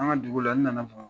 An ka nin dugu la, n nana.